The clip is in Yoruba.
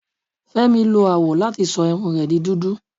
Fẹmi lo awọ lati sọ irun rẹ di dudu